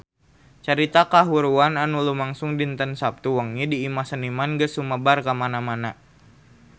Carita kahuruan anu lumangsung dinten Saptu wengi di Imah Seniman geus sumebar kamana-mana